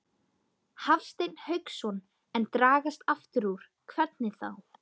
Hafsteinn Hauksson: En dragast aftur úr, hvernig þá?